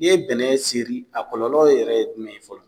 I ye bɛnɛ seri a kɔlɔ yɛrɛ ye jumɛn ye fɔlɔ.